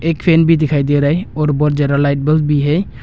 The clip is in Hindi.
एक फैन भी दिखाई दे रहा है और बहुत ज्यादा लाइट बल्ब भी है।